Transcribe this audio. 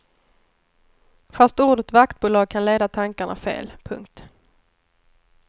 Fast ordet vaktbolag kan leda tankarna fel. punkt